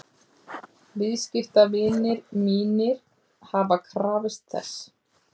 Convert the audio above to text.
Viðskiptavinir mínir hafa krafist þess.